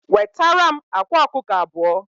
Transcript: Wetaram akwa ọkụkọ abụọ